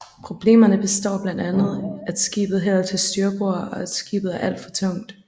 Problemerne består blandt andet at skibet hælder til styrbord og at skibet er alt for tungt